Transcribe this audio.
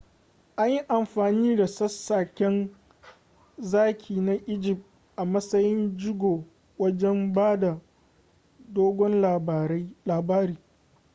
an yi amfani da sassaken zaki na egypt a matsayin jigo wajen bada dogon labari